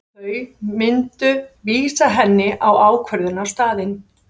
Þau myndu vísa henni á ákvörðunarstaðinn.